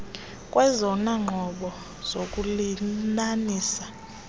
kwezona nqobo zokulinanisa